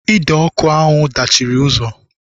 Ide ọkụ ahụ dachiri ụzọ